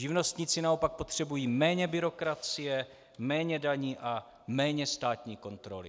Živnostníci naopak potřebují méně byrokracie, méně daní a méně státní kontroly.